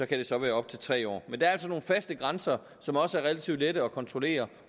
det så være op til tre år men der er altså nogle faste grænser som også er relativt lette at kontrollere